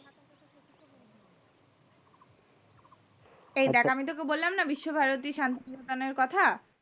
এই দেখ তোকে বললাম না বিশ্বভারতীর কথা